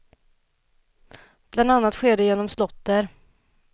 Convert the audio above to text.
Bland annat sker det genom slåtter.